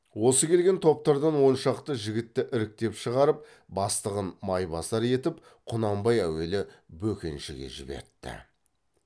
осы келген топтардан он шақты жігітті іріктеп шығарып бастығын майбасар етіп құнанбай әуелі бөкеншіге жібертті